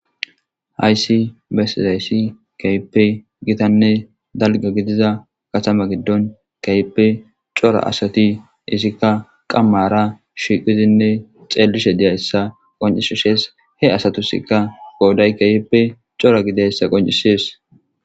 hayssi besiz hayssi keyippe gitanne dalga gidiza gathama giddon keyippe cora asati isikka qammara shiqizinne xeelishe diyayssa qoncishishees he asatusikka gooday keyippe cora gidayssa qoncishees